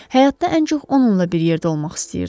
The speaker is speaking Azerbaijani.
Həyatda ən çox onunla bir yerdə olmaq istəyirdim.